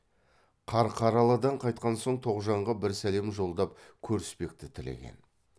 қарқаралыдан қайтқан соң тоғжанға бір сәлем жолдап көріспекті тілеген